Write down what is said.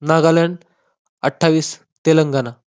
नागालँड, अठ्ठावीस तेलंगणा.